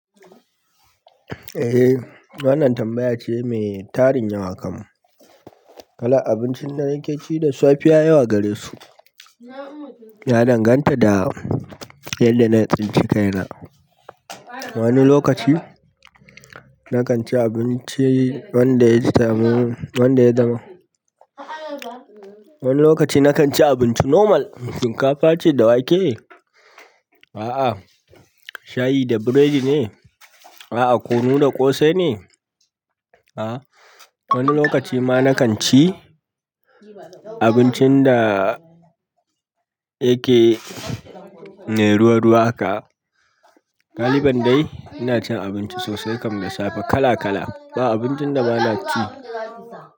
Eh, wannan tambaya ce mai tarin yawa kam. Wallahi abincin dare kaci da safiya ka gane su ya danganta da yanda na tsinci kaina. Wani lokaci na kan ci abinci wanda ya zama, wani lokaci na kan ci abinci normal. Shinkafa ce da wake? A'a. Shayi da burodi ne? A'a kunu da ƙosai ne, a'a wani lokaci ma nakan ci abincin da yake mai ruwa ruwa aka galiban dai ina cin abinci sosai kam da safe kala-kala. Ba abincin da ba na ci.